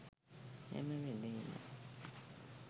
හැම වෙලේම